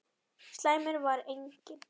Slæmur var einnig